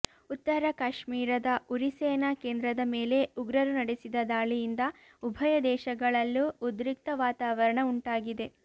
ಉತ್ತರ ಕಾಶ್ಮಿರದ ಉರಿ ಸೇನಾ ಕೇಂದ್ರದ ಮೇಲೆ ಉಗ್ರರು ನಡೆಸಿದ ದಾಳಿಯಿಂದ ಉಭಯ ದೇಶಗಳಲ್ಲೂ ಉದ್ರಿಕ್ತ ವಾತಾವರಣ ಉಂಟಾಗಿದೆ